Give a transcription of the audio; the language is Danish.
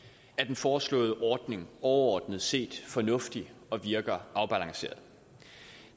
er den foreslåede ordning overordnet set fornuftig og virker afbalanceret